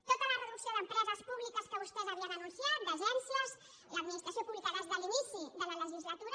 tota la reducció d’empreses públiques que vostès havien anunciat d’agències de l’administració pública des de l’inici de la legislatura